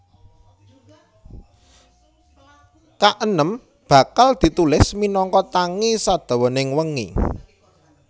Kaenem Bakal ditulis minangka tangi sadawaning wengi